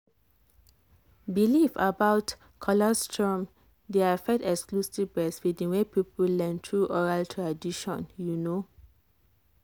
belief about colostrum dey affect exclusive breastfeeding wey people learn through oral tradition. you know.